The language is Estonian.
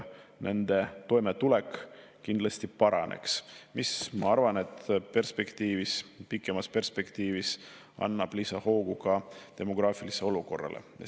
Nende toimetulek kindlasti paraneks, mis, ma arvan, pikemas perspektiivis annab lisahoogu ka demograafilisele olukorrale.